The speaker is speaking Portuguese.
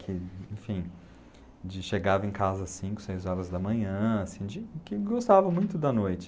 Que, enfim, de chegava em casa às cinco, seis horas da manhã, assim de, que gostava muito da noite.